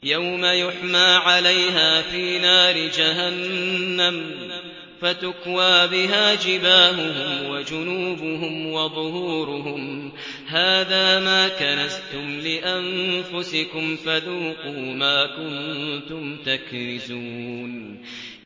يَوْمَ يُحْمَىٰ عَلَيْهَا فِي نَارِ جَهَنَّمَ فَتُكْوَىٰ بِهَا جِبَاهُهُمْ وَجُنُوبُهُمْ وَظُهُورُهُمْ ۖ هَٰذَا مَا كَنَزْتُمْ لِأَنفُسِكُمْ فَذُوقُوا مَا كُنتُمْ تَكْنِزُونَ